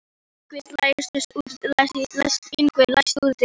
Yngvi, læstu útidyrunum.